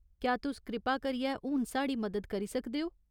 क्या तुस कृपा करियै हून साढ़ी मदद करी सकदे ओ ?